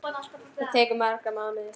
Það tekur marga mánuði.